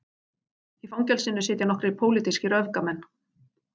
Í fangelsinu sitja nokkrir pólitískir öfgamenn